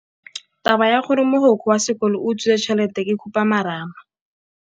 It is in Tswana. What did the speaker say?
Taba ya gore mogokgo wa sekolo o utswitse tšhelete ke khupamarama.